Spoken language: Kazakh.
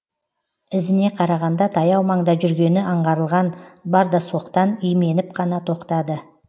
ізіне қарағанда таяу маңда жүргені аңғарылған бардасоқтан именіп қана тоқтады